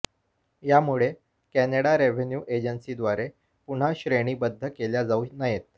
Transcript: यामुळे Canada revenue एजन्सीद्वारे पुन्हा श्रेणीबद्ध केल्या जाऊ नयेत